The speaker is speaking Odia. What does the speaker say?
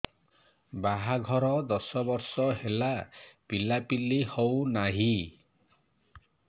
ବାହାଘର ଦଶ ବର୍ଷ ହେଲା ପିଲାପିଲି ହଉନାହି